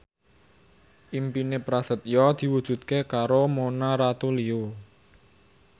impine Prasetyo diwujudke karo Mona Ratuliu